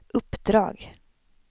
uppdrag